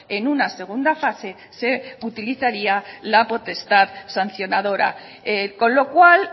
en una segunda fase se utilizaría la potestad sancionadora con lo cual